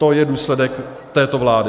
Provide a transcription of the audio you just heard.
To je důsledek této vlády.